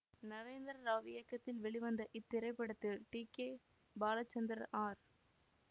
நரேந்திர ராவ் இயக்கத்தில் வெளிவந்த இத்திரைப்படத்தில் டி கே பாலச்சந்திரன் ஆர்